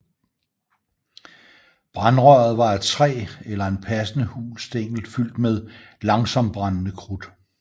Brandrøret var af træ eller en passende hul stængel fyldt med langsomtbrændende krudt